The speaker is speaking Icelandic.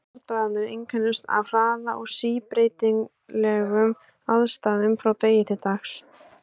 Bardagarnir einkenndust af hraða og síbreytilegum aðstæðum frá degi til dags.